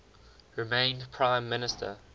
remained prime minister